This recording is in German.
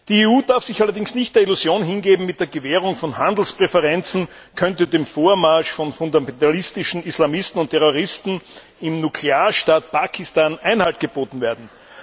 Die EU darf sich allerdings nicht der Illusion hingeben, mit der Gewährung von Handelspräferenzen könnte dem Vormarsch von fundamentalistischen Islamisten und Terroristen im Nuklearstaat Pakistan Einhalt geboten werden.